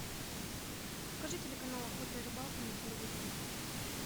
покажи телеканал охота и рыбалка на телевизоре